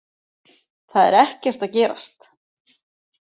Það er ekkert að gerast